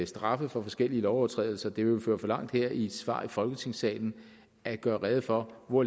straffe for forskellige lovovertrædelser det ville føre for vidt her i et svar i folketingssalen at gøre rede for hvor